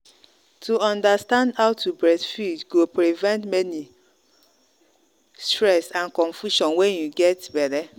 to understand how to breastfeed go prevent many go prevent many many stress and confusion when you get belle.